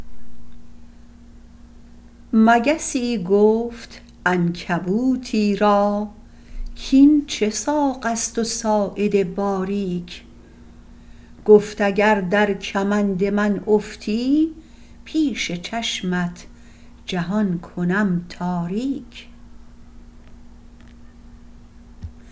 مگسی گفت عنکبوتی را کاین چه ساقست و ساعد باریک گفت اگر در کمند من افتی پیش چشمت جهان کنم تاریک